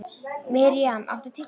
Miriam, áttu tyggjó?